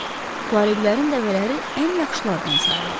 Tuareqlərin dəvələri ən yaxşılardan sayılırdı.